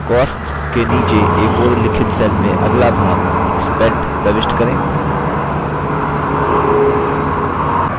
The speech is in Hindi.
costs के नीचे a4 उल्लिखित cell में अगला भाग spent प्रविष्ट करें